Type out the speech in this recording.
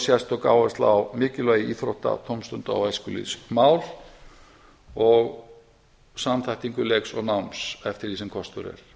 sérstök áhersla á mikilvægi íþrótta tómstunda og æskulýðsmál og samþættingu leiks og náms eftir því sem kostur